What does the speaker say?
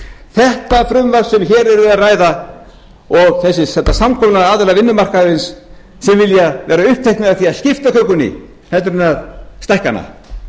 þetta frumvarp sem hér er verið að ræða og þetta samkomulag aðila vinnumarkaðarins sem vilja vera uppteknari af því að skipta kökunni en að stækka hana